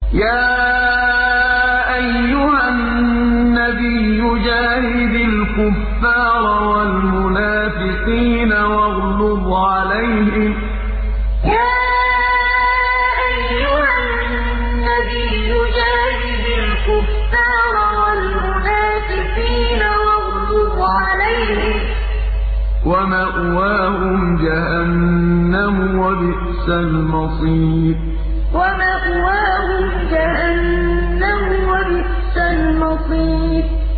يَا أَيُّهَا النَّبِيُّ جَاهِدِ الْكُفَّارَ وَالْمُنَافِقِينَ وَاغْلُظْ عَلَيْهِمْ ۚ وَمَأْوَاهُمْ جَهَنَّمُ ۖ وَبِئْسَ الْمَصِيرُ يَا أَيُّهَا النَّبِيُّ جَاهِدِ الْكُفَّارَ وَالْمُنَافِقِينَ وَاغْلُظْ عَلَيْهِمْ ۚ وَمَأْوَاهُمْ جَهَنَّمُ ۖ وَبِئْسَ الْمَصِيرُ